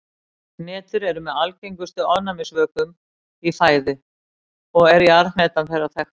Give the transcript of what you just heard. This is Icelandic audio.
Hnetur eru með algengustu ofnæmisvökum í fæðu og er jarðhnetan þeirra þekktust.